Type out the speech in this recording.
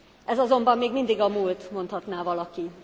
Ez azonban még mindig a múlt, mondhatná valaki.